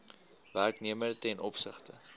werknemer ten opsigte